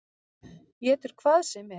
Étur hvað sem er.